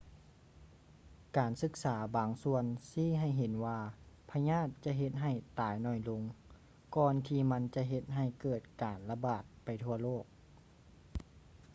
ການສຶກສາບາງສ່ວນຊີ້ໃຫ້ເຫັນວ່າພະຍາດຈະເຮັດໃຫ້ຕາຍໜ້ອຍລົງ ກ່ອນທີ່ມັນຈະເຮັດໃຫ້ເກີດການລະບາດໄປທົ່ວໂລກ